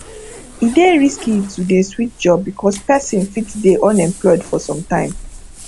e dey risky to dey switch job because person fit dey unemployed for some time